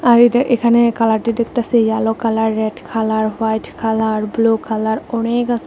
আর এইটা এখানে কালারটি দেখতাসি yellow colour red colour white colour blue colour অনেক আছে।